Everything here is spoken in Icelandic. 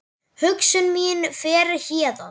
Hugsun mín fer héðan.